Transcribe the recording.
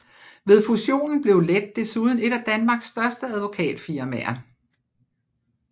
Ved fusionen blev Lett desuden et af Danmarks største advokatfirmaer